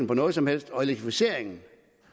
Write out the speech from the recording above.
på noget som helst elektrificeringen